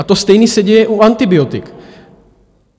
A to stejné se děje u antibiotik.